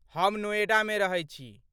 हम नोएडामे रहै छी।